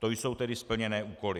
To jsou tedy splněné úkoly.